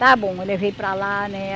Está bom, eu levei para lá, né?